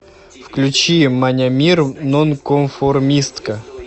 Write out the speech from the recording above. включи манямир нонконформистка